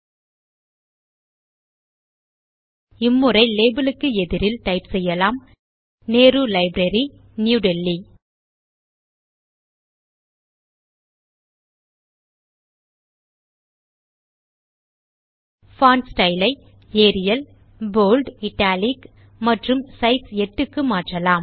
ல்ட்பாசெக்ட் இம் முறை லேபல் க்கு எதிரில் டைப் செய்யலாம் நெஹ்ரு லைப்ரரி நியூ delhiல்ட்பாசெக்ட் பான்ட் ஸ்டைல் ஐ ஏரியல் போல்ட் இட்டாலிக் மற்றும் சைஸ் 8 க்கு மாற்றலாம்